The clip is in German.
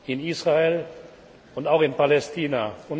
in Israel und auch in Palästina.